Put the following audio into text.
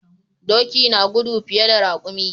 Doki na gudu fiye da raƙumi.